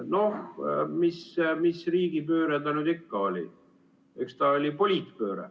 Noh, mis riigipööre ta nüüd ikka oli, eks ta oli poliitpööre.